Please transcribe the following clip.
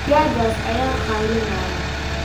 Digaaggaas ayaa qaylinaya